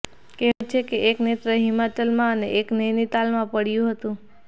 કહેવાય છે કે એક નેત્ર હિમાચલમાં અને એક નૈનીતાલમાં પડ્યું હતું